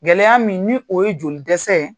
Gɛlɛya min ni o ye jolidɛsɛ ye.